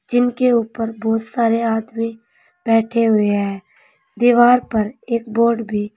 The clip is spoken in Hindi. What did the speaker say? जिनके ऊपर बहुत सारे आदमी बैठे हुए हैं दीवार पर एक बोर्ड भी--